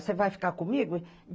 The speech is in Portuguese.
Você vai ficar comigo?